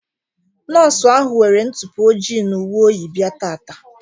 Nọọsụ ahụ nwere ntụpọ ojii na uwe oyi bịa taata.